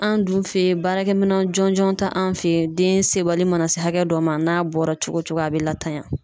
An dun fe yen, baarakɛminɛn jɔnjɔn te anw fe yen .Den sebali mana se hakɛ dɔ ma, n'a bɔra cogo cogo a be latanya.